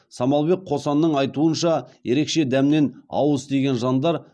самалбек қосанның айтуынша ерекше дәмнен ауыз тиген жандар